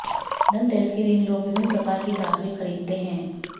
धनतेरस के दिन लोग विभिन्न प्रकार की धातुएं खरीदते हैं